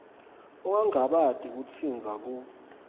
ungangabati kusitsintsa ku